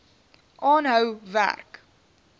aanhou werk